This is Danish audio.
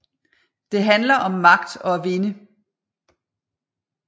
Det handler om magt og at vinde